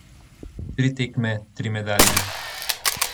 Tri tekme, tri medalje.